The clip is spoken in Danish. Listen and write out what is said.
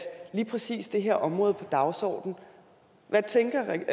lige præcis det her område på dagsordenen hvad tænker